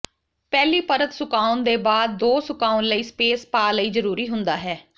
ਪਹਿਲੀ ਪਰਤ ਸੁਕਾਉਣ ਦੇ ਬਾਅਦ ਦੋ ਸੁਕਾਉਣ ਲਈ ਸਪੇਸ ਪਾ ਲਈ ਜਰੂਰੀ ਹੁੰਦਾ ਹੈ